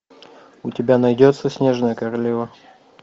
у тебя найдется снежная королева